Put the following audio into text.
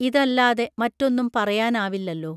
ഇതല്ലാതെ മറ്റൊന്നും പറയാനാവില്ലല്ലോ